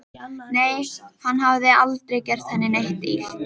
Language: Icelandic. Nei, hann hafði aldrei gert henni neitt illt.